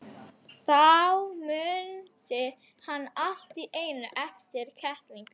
Þá mundi hann allt í einu eftir kettlingunum.